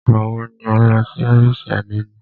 Ìgbà wọ ni o lọ sí ọ́fìsì àdénì?